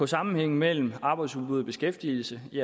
sammenhængen mellem arbejdsudbud og beskæftigelse de